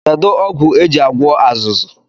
Kedụ ọgwụ e ji agwọ azụzụ?